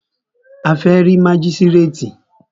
A fẹ́ rí mágístrètì.